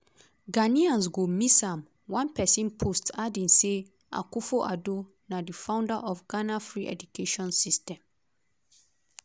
ghanaians go miss am" one pesin post adding say akufo-addo na di "founder of ghana free education system".